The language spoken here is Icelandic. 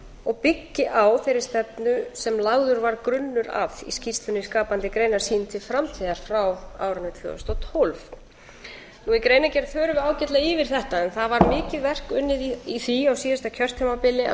og byggi á þeirri stefnu sem lagður var grunnur að í skýrslunni skapandi greinar sýn til framtíðar frá árinu tvö þúsund og tólf í greinargerð förum við ágætlega yfir þetta en það var mikið verk unnið í því á síðasta kjörtímabili að